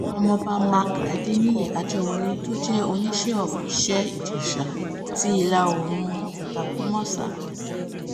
ọmọọba mark adẹniyí àjẹwọ́lẹ̀ tó jẹ́ oníṣẹ́ of iṣẹ́-ìjẹsà ti ìlà oòrùn àtàkúnmọ́sá